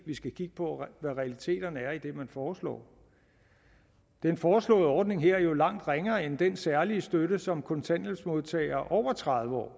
vi skal kigge på hvad realiteterne er i det som man foreslår den foreslåede ordning er jo langt ringere end den særlige støtte som kontanthjælpsmodtagere over tredive år